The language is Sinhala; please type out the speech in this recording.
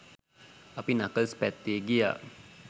අපි නකල්ස් පැත්තේ ගියා